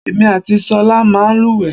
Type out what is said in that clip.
Èmi àti ṣọ̀lá máa ń lúwẹ̀ẹ́.